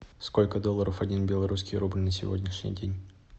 сколько долларов один белорусский рубль на сегодняшний день